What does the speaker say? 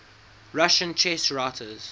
russian chess writers